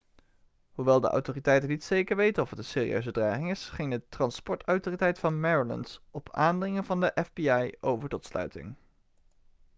hoewel de autoriteiten niet zeker weten of het een serieuze dreiging is ging de transportautoriteit van maryland op aandringen van de fbi over tot sluiting